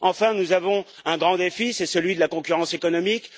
Enfin, nous avons un grand défi à relever c'est celui de la concurrence économique.